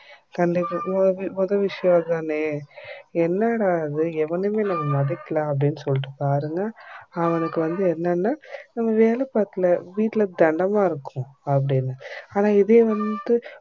மொத விஷயம் அதானே என்னடா இது ஏவனுமே நம்பளமதிக்கல அப்டினு சொல்லிட்டு பாருங்க அவனுக்கு வந்து என்னான்னா நம்ம வேல பாக்கல வீட்டுல தெண்டமா இருக்கோம் அப்டினு ஆனா இதே வந்து